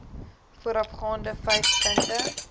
voorafgaande vyf punte